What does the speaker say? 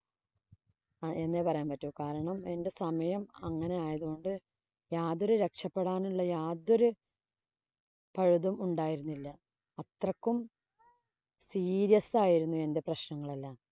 എന്നേ പറയാന്‍ പറ്റൂ. കാരണം, എന്‍റെ സമയം അങ്ങനെയായത് കൊണ്ട് യാതൊരു രക്ഷപെടാനുള്ള യാതൊരു പഴുതും ഉണ്ടായിരുന്നില്ല. അത്രയ്ക്കും serious ആയിരുന്നു എന്‍റെ പ്രശ്നങ്ങളെല്ലാം.